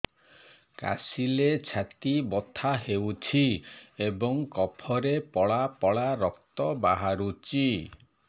କାଶିଲେ ଛାତି ବଥା ହେଉଛି ଏବଂ କଫରେ ପଳା ପଳା ରକ୍ତ ବାହାରୁଚି